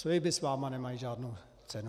Sliby s vámi nemají žádnou cenu.